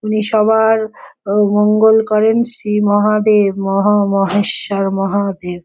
উনি সবার ও মঙ্গল করেন শ্রী মহাদেব মহা মহেশ্বর মহাদেব।